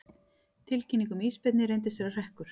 Tilkynning um ísbirni reyndist vera hrekkur